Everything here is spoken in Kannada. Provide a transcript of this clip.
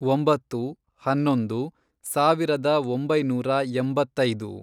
ಒಂಬತ್ತು, ಹನ್ನೊಂದು, ಸಾವಿರದ ಒಂಬೈನೂರ ಎಂಬತ್ತೈದು